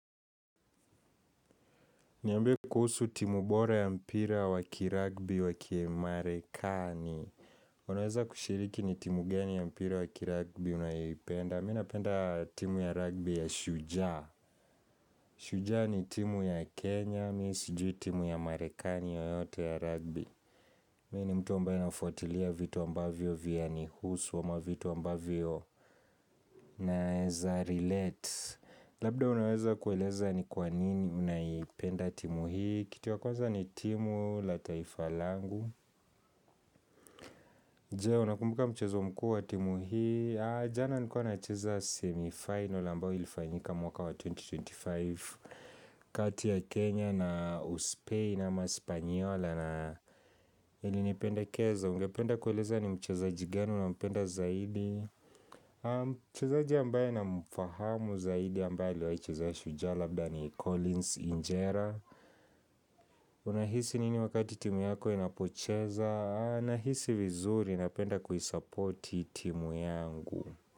Niambie kuhusu timu bora ya mpira wakiragbi wakimarekani Unaweza kushiriki ni timu gani ya mpira wakiragbi unayoipenda Mimi napenda timu ya ragbi ya shujaa Shujaa ni timu ya Kenya, mimi sijui timu ya marekani yoyote ya ragbi Mimi ni mtu ambaye ninafuatilia vitu ambavyo vya nihusu ama vitu ambavyo naeza relate Labda unaweza kueleza ni kwanini unayipenda timu hii Kituwa kwanza ni timu la taifa langu. Jee, unakumbuka mchezo mkuu wa timu hii jana nikuwa na cheza semifinal mbao ilifanyika mwaka wa 2025 kati ya Kenya na Uspei na ma Spanyola na nilipendekeza Ungependa kueleza ni mchezaji gani nampenda zaidi Mchezaji ambaye namfahamu zaidi ambaye aliwahi chezea shujaa Labda ni Collins Injera Unahisi nini wakati timu yako inapocheza na hisi vizuri napenda kuisupporti timu yangu.